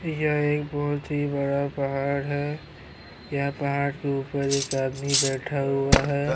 یہ ایک بھوت ہی بڑا پھاڈ ہے۔ یہاں پھاڈ کے اپر ایک آدمی بیٹھا ہوا ہے۔